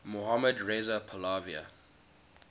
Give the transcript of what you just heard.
mohammad reza pahlavi